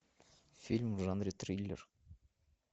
фильм в жанре триллер